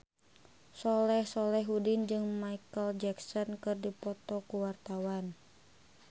Soleh Solihun jeung Micheal Jackson keur dipoto ku wartawan